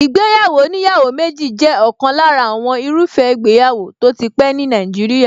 Ìgbéyàwó oníyàwó méjì jẹ́ ọ̀kan lára àwọn irúfẹ́ ìgbéyàwó tó tí pẹ́ ní Nàìjíríà.